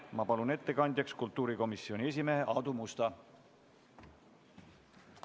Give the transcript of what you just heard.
Ma palun ettekandjaks kultuurikomisjoni esimehe Aadu Musta!